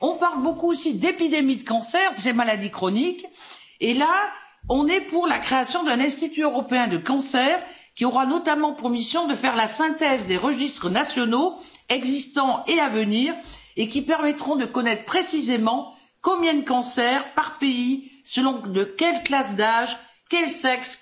On parle beaucoup aussi d'épidémie de cancers, ces maladies chroniques, et là, nous sommes pour la création d'un institut européen du cancer, qui aura notamment pour mission de faire la synthèse des registres nationaux, existants et à venir, et qui permettra de connaître précisément le nombre de cancers par pays, de quel type de cancer il s'agit, selon quelle classe d'âge ou quel sexe.